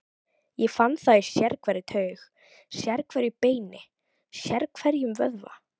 Ég fann það í sérhverri taug, sérhverju beini, sérhverjum vöðva.